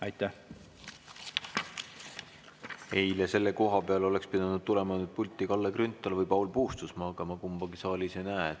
Eile oleks selle koha peal pidanud tulema pulti Kalle Grünthal või Paul Puustusmaa, aga ma kumbagi saalis ei näe.